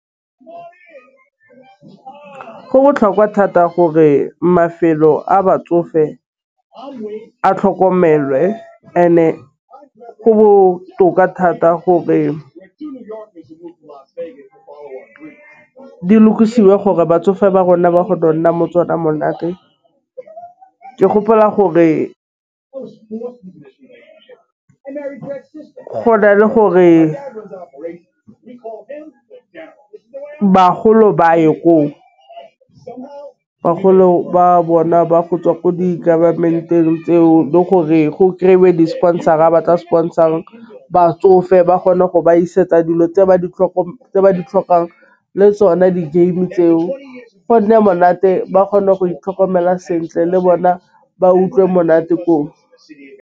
Go botlhokwa thata gore mafelo a batsofe a tlhokomelwe and-e go botoka thata gore, gore di lokisiwe gore batsofe ba rona ba go nna mo tsona monate. Ke gopola gore go na le gore bagolo ba a ye ko. Bagolo ba bona ba go tswa ko di government-eng tseo le gore go kry-we di-sponsor-a ba tla sponsor-a batsofe ba kgona go ba isetse dilo tse ba di tlhoka tse ba di tlhokang le tsone di-game tseo go nne monate ba kgone go itlhokomela sentle le bona ba utlwe monate ko.